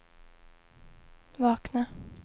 vakna